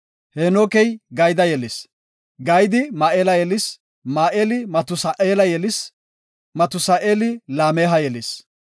Heenokey Gayda yelis. Gaydi Ma7eela yelis. Ma7eeli Matusa7eela yelis. Matusa7eeli Laameha yelis.